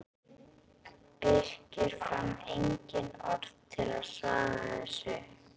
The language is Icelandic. Birkir fann engin orð til að svara þessu.